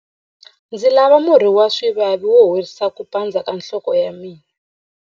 Ndzi lava murhi wa swivavi wo horisa ku pandza ka nhloko ya mina.